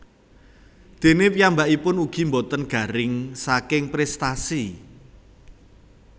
Déné piyambakipun ugi boten garing saking prestasi